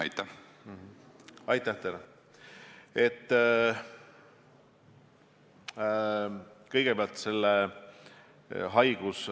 Olge hea ja kinnitage see üle!